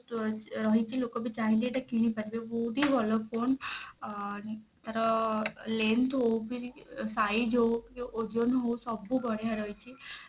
store ରହିଛି ଲୋକ ବି ଚାହିଁଲେ ଏଟା କିଣି ପାରିବେ ବହୁତ ହି ଭଲ phone ଅ ତାର length ହଉ କି size ହଉ କି ଓଜନ ହଉ ସବୁ ବଢିଆ ରହିଛି